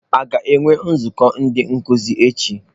A ga-enwe nzukọ ndị nkuzi echi?